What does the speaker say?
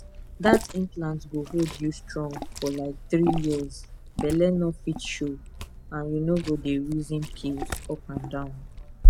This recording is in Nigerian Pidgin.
that implant go hold you strong for like three years belle no fit show and you no go dey reason pills up and down